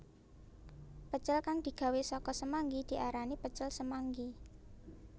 Pecel kang digawé saka semanggi diarani pecel semanggi